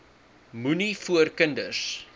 moenie voor kinders